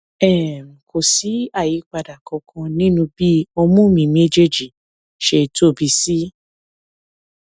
um kò sí àyípadà kankan nínú bí ọmú mi méjèèjì ṣe tóbi sí